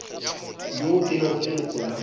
yo e lego leloko la